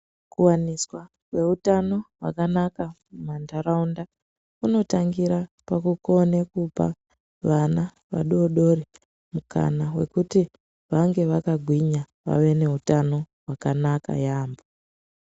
Kuwaniswa jweutano hwakanaka mumantharaunda kunotangira pakukone kupa vana vadodori mukana wekuti vange vakagwinya vave nehutano hwakanaka yaamho.